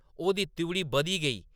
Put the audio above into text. ओह्‌‌‌दी त्रिउढ़ी बधदी गेई ।